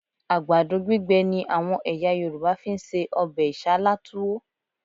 Àgbàdo gbígbẹ ni àwọn ẹ̀yà Yorùbá fi ń se ọbẹ̀ Isálá Túwó